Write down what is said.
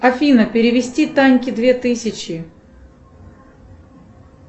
афина перевести таньке две тысячи